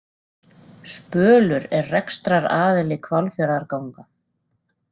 Spölur er rekstraraðili Hvalfjarðarganga